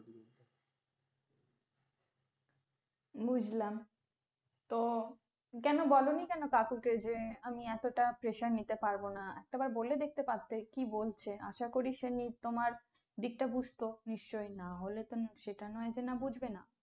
বুজলাম, তো কেন বলোনি কোনো কাকুকে যে আমি এতোটা pressure নিতে পারবোনা। একটা বার বলে দেখতে পারতে কি বলছে, আশা করি সে তোমার দিক টা বুঝতো নিশ্চয়ই, না হলে তো সেটা নয় যে বুঝবে না।